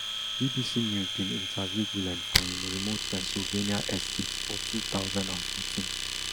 bbc news bin interview gulen for im remote pennsylvania estatefor two thousand and fourteen